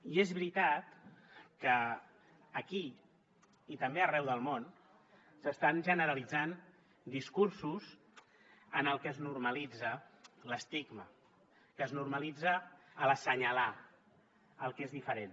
i és veritat que aquí i també arreu del món s’estan generalitzant discursos en els que es normalitza l’estigma es normalitza l’assenyalar el que és diferent